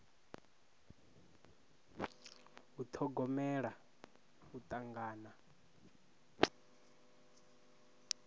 u ṱhogomela u tangana